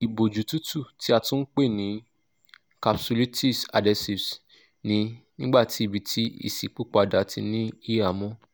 iboju tutu ti a tun pe ni capsulitis adhesives ni nigbati ibiti iṣipopada ti ni ihamọ